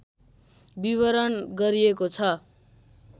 विवरण गरिएको छ